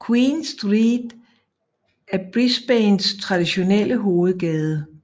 Queen Street er Brisbanes traditionelle hovedgade